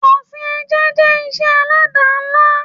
Ọsìn ẹja jẹ́ ìṣe alada ńlá